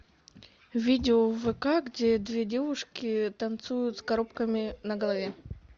видео в вк где две девушки танцуют с коробками на голове